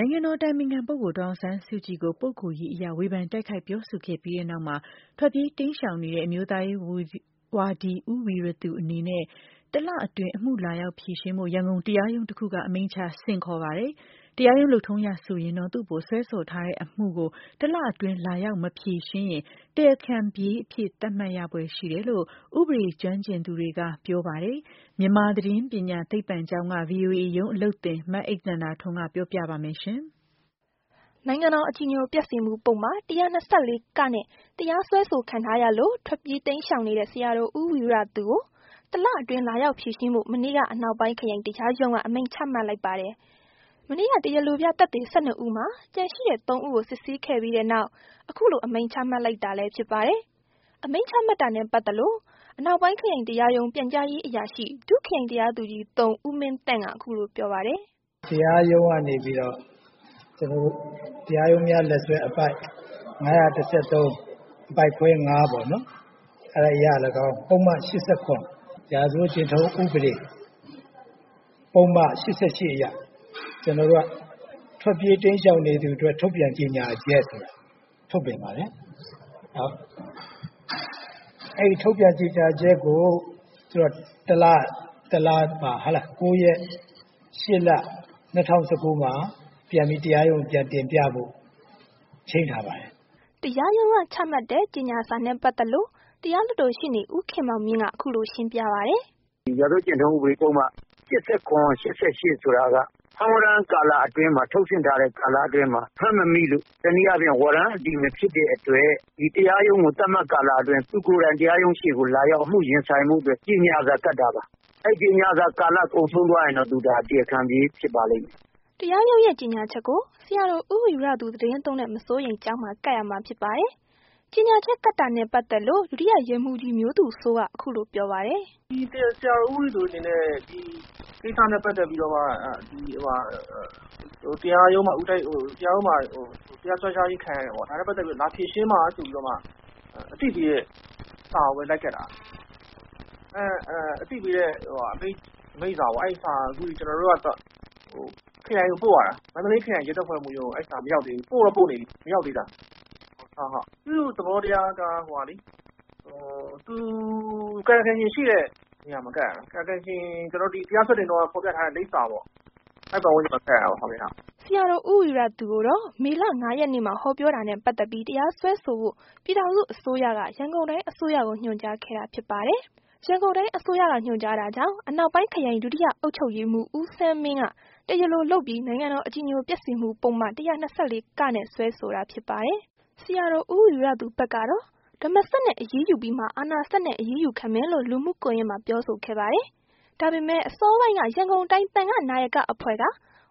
နိုင်ငံတော်အတိုင်ပင်ခံပုဂ္ဂိုလ် ဒေါ်အောင်ဆန်းစုကြည်ကို ပုဂ္ဂိုလ်ရေးအရ ဝေဖန်တိုက်ခိုက် ပြောဆိုခဲ့ပြီးနောက် ထွက်ပြေးတိမ်းရှောင်နေတဲ့ အမျိုးသားရေးဝါဒီ ဦးဝီရသူအနေနဲ့ တလအတွင်း အမှု လာရောက်ဖြေရှင်းဖို့ ရန်ကုန်တရားရုံးတခုက အမိန့်ချ ဆင့်ခေါ်ပါတယ်။ တရားရုံးလုပ်ထုံးအရဆိုရင်တော့ သူ့အပေါ် စွဲဆိုထားတဲ့အမှုကို တလအတွင်း လာရောက်မဖြေရှင်းရင် တရားခံပြေးအဖြစ်သတ်မှတ်ခံရဖွယ်ရှိတယ်လို့ ဥပဒေရေးကျွမ်းကျင်သူတွေက ပြောပါတယ်။ မြန်မာသတင်းပညာသိပ္ပံကျောင်းက ဗွီအိုအေရုံးအလုပ်သင် အိမ့်သန္တာထွန်း က ပြောပြပါလိမ့်မယ်။ နိုင်ငံတော် အကြည်ညိုပျက်စေမှု ၁၂၄ နဲ့ တရားစွဲဆိုခံထားရလို့ ထွက်ပြေး တိမ်းရှောင်နေတဲ့ ဆရာတော် ဦးဝီရသူကို တလအတွင်း လာရောက်ဖြေရှင်းဖို့ မနေ့က အနောက်ပိုင်း ခရိုင်တရားရုံးက အမိန့်ချမှတ် လိုက်ပါတယ်။ မနေ့က တရားလိုပြသက်သေ ၁၂ ဦးမှာ ကျန်ရှိတဲ့ ၃ ဦးကို စစ်ဆေးခဲ့ပြီးနောက် အခုလို အမိန့် ချမှတ်လိုက်တာလည်း ဖြစ်ပါတယ်။ အမိန့်ချမှတ်တာနဲ့ ပတ်သက်လို့ အနောက်ပိုင်း ခရိုင်တရားရုံး ပြန်ကြားရေးအရာရှိ ဒုခရိုင်တရားသူကြီး ဦးမင်းသန့်က အခုလိုပြောပါတယ်။ "တရားရုံးကနေပြီးတော့ တရားရုံးများလက်စွဲ အပိုဒ် ၅၁၃ အပိုဒ်ခွဲ ၅ ပေါ့နော်။ ပုဒ်မ ၈၇ ရာဇဝတ်ကျင့်ထုံး ဥပဒေ ၈၈ အရ ကျွန်တော်တို့က ထွက်ပြေးတိမ်းရှောင်နေသူအတွက် ထုတ်ပြန်ကြေညာချက်ဆိုတာ ထုတ်ပြန်ပါတယ်။ အဲ့ထုတ်ပြန်ကြေညာချက်ကို တလမှာ ၉ ရက် ၈ လ ၂၀၁၉ မှာ ပြန်ပြီး တရားရုံးကို ပြန်တင်ပြဖို့ ချိန်းထား ပါတယ်။" တရားရုံးက ချမှတ်တဲ့ ကြေညာစာနဲ့ ပတ်သက်လို့ တရားလွှတ်တော် ရှေ့နေ ဦးခင်မောင်မြင့်က အခုလို ရှင်းပြပါတယ်။ "ဒီရာဇဝတ်ကျင့်ထုံး ၈၇-၈၈ဆိုတာက ဖမ်းဝရမ်းကာလအတွင်းမှာ ထုတ်ဆင့်ထားတဲ့ ကာလအတွင်းမှာ ဖမ်းမမိလို့ ဝရမ်းအတည်မဖြစ်တဲ့အတွက် တရားရုံးကို သတ်မှတ်ကာလအတွင်း သူကိုယ်တိုင် တရားရုံး ရှေ့မှာ အမှုရင်ဆိုင်ဖို့အတွက် ကြေညာစာကပ်တာပါ။ အဲ့ကြေညာစာကာလ ကုန်ဆုံးသွားရင်တော့ သူဒါ တရားခံပြေး ဖြစ်ပါလိမ့်မယ်။" တရားရုံးရဲ့ကြေညာချက်ကို ဆရာတော် ဦးဝီရသူ သီတင်းသုံးတဲ့ မစိုးရိမ်ကျောင်းမှာ ကပ်ရမှာ ဖြစ်ပါတယ်။ ကြေညာချက်ကပ်တာနဲ့ ပတ်သက်လို့ ဒုတိယရဲမှူးကြီး မျိုးသူစိုးက အခုလိုပြောပါတယ်။ "ဒီ ဆရာတော် ဦးဝီရသူအနေနဲ့ ဒီကိစ္စနဲ့ပတ်သက်ပြီးတော့မှ တရားရုံးမှာ တရားစွဲထားခြင်းခံရတယ်ပေါ့။ ဒါနဲ့ ပတ်သက်လို့ လာဖြေရှင်းပါဆိုပြီးတော့မှ အသိပေးတဲ့စာကိုပဲ လိုက်ကပ်တာ။ အသိပေးတဲ့ အမိန့်စာပေါ့။ အမိန့်စာကို အခုကျွန်တော်တို့ကတော့ ခရိုင်ကိုပို့ရတာ။ မန္တလေးခရိုင်ရဲတပ်ဖွဲ့မှူးရုံးကို အဲ့ဒီစာမရောက်သေး ဘူး။ ပို့တော့ ပို့နေပြီမရောက်သေးတာ။ သူ့သဘောတရားက ကာယကံရှင်ရှိတဲ့နေရာမှာ ကပ်ရတာ။ ကာယကံရှင် တရားစွဲတင်တုန်းက ဖော်ပြထားတဲ့ လိပ်စာမှာ ကပ်ရတာပေါ့။" ဆရာတော် ဦးဝီရသူကိုတော့ မေလ ၅ ရက်နေ့မှာ ဟောပြောတာနဲ့ ပတ်သက်ပြီး တရားစွဲဆိုဖို့ ပြည်ထောင်စုအစိုးရက ရန်ကုန်တိုင်းအစိုးရကို ညွှန်ကြားခဲ့တာဖြစ်ပါတယ်။ ရန်ကုန်တိုင်းအစိုးရက ညွှန်ကြားတာကြောင့် အနောက်ပိုင်း ခရိုင် ဒုတိယ အုပ်ချုပ်ရေးမှူး ဦးဆန်းမင်းက တရားလိုလုပ်ပြီး နိုင်ငံတော် အကြည်ညိုပျက်စေမှု ပုဒ်မ ၁၂၄ နဲ့ တရားစွဲဆိုတာဖြစ်ပါတယ်။ ဆရာတော်ဦးဝီရသူဘက်တော့ ဓမ္မစက်နဲ့ အရေးယူပြီးမှ အာဏာစက်နဲ့ အရေးယူခံမယ်လို့ လူမှုကွန်ယက်မှာ ပြောဆိုခဲ့ပါတယ်။ ဒါပေမယ့် အစောပိုင်းက ရန်ကုန်းတိုင်း သံဃာ့နာယက အဖွဲ့က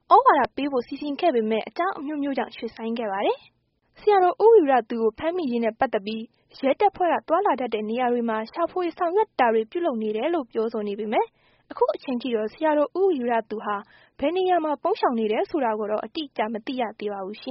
သြဝါဒပေးဖို့စီစဉ်ခဲ့ပေမယ့် အကြောင်းအမျိုးမျိုးကြောင့် ရွှေ့ဆိုင်းခဲ့ပါတယ်။ ဆရာတော် ဦးဝီရသူကို ဖမ်းမိရေးနဲ့ ပတ်သက်ပြီး ရဲတပ်ဖွဲ့က သွားလာတတ်တဲ့နေရာတွေမှာ ရှာဖွေဆောင်ရွက် တာတွေ ပြုလုပ်နေတယ်လို့ ပြောဆိုနေပေမယ့် အခုချိန်ထိတော့ ဆရာတော်ဦးဝီရသူဟာ ဘယ်နေရာမှာ ပုန်းရှောင်းနေတယ်ဆိုတာကိုတော့ မသိရသေးပါဘူး။